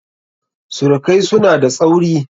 Surukaisu na da tsauri.